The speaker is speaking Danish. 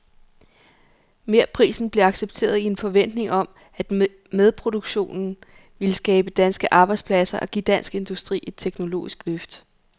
Merprisen blev accepteret i en forventning om, at medproduktionen ville skabe danske arbejdspladser og give dansk industri et teknologisk løft.